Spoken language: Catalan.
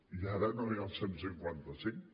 i ara no hi ha el cent i cinquanta cinc